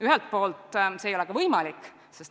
Ja see ei ole ka võimalik.